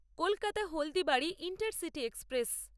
Kolkata Haldibari intercity express